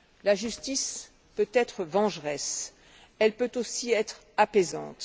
La justice peut être vengeresse, mais elle peut aussi être apaisante.